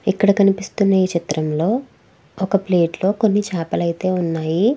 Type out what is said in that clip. ఇక్కడ కనిపిస్తున్న ఈ చిత్రంలో ఒక ప్లేట్ లో కొన్ని చాపలు అయితే ఉన్నాయి.